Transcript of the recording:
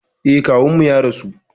Eh, kawunmu ya rasu